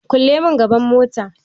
Kulle mun gaban mota